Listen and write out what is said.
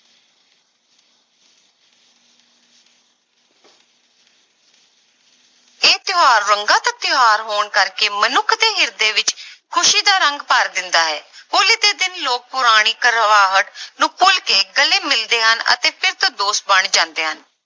ਇਹ ਤਿਉਹਾਰ ਰੰਗਾਂ ਦਾ ਤਿਉਹਾਰ ਹੋਣ ਕਰਕੇ ਮਨੁੱਖ ਦੇ ਹਿਰਦੇ ਵਿੱਚ ਖ਼ੁਸ਼ੀ ਦਾ ਰੰਗ ਭਰ ਦਿੰਦਾ ਹੈ ਹੋਲੀ ਦੇ ਦਿਨ ਲੋਕ ਪੁਰਾਣੀ ਕੜਵਾਹਟ ਨੂੰ ਭੁੱਲ ਕੇ ਗਲੇ ਮਿਲਦੇ ਹਨ ਅਤੇ ਫਿਰ ਤੋਂ ਦੋਸਤ ਬਣ ਜਾਂਦੇ ਹਨ।